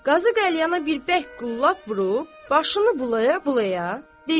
Qazı qəlyana bir bərk qullab vurub, başını bulaya-bulaya deyir: